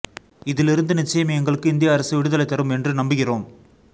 இதிலிருந்து நிச்சயம் எங்களுக்கு இந்திய அரசு விடுதலை தரும் என்று நம்புகிறோம்